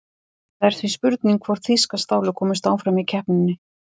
Það er því spurning hvort þýska stálið komist áfram í keppninni?